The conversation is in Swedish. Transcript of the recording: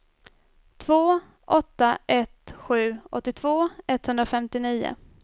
två åtta ett sju åttiotvå etthundrafemtionio